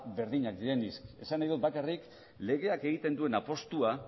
berdinak direnik esan nahi du bakarrik legeak egiten duen apustua